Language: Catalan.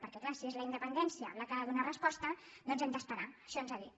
perquè clar si és la independència la que hi ha de donar resposta doncs hem d’esperar això ens ha dit